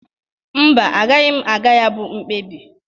Mba, agaghị m aga ya bụ mkpebi.